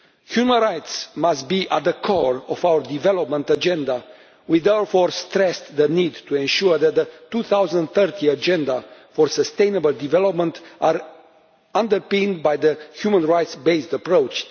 Human rights must be at the core of our development agenda. We therefore stressed the need to ensure that the 2030 Agenda for Sustainable Development is underpinned by the human rights based approach.